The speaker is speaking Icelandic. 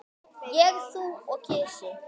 Ég, þú og kisi.